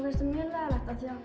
finnst það mjög leiðinlegt af því að